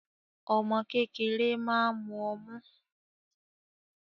Omo kékeré máa ń mu ọmú